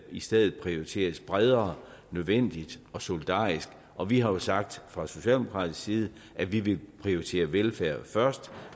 i stedet prioriteres bredere nødvendigt og solidarisk og vi har jo sagt fra socialdemokratisk side at vi vil prioritere velfærd først